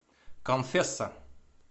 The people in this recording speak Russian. конфесса